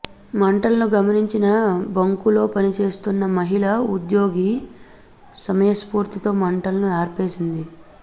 మంటలను గమనించిన బంకులో పనిచేస్తున్న మహిళ ఉద్యోగి సమయస్ఫూర్తితో మంటలను ఆర్పేసింది